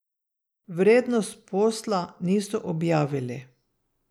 Vrednost posla niso objavili.